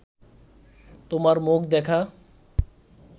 তোমার মুখ দেখা